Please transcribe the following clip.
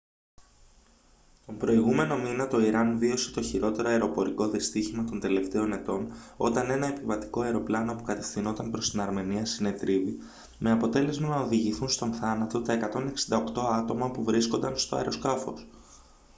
τον προηγούμενο μήνα το ιράν βίωσε το χειρότερο αεροπορικό δυστύχημα των τελευταίων ετών όταν ένα επιβατικό αεροπλάνο που κατευθυνόταν προς την αρμενία συνετρίβη με αποτέλεσμα να οδηγηθούν στον θάνατο τα 168 άτομα που βρίσκονταν στο αεροσκάφος